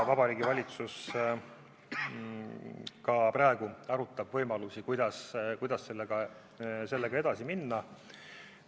Vabariigi Valitsus arutab praegu võimalusi, kuidas sellega edasi minna.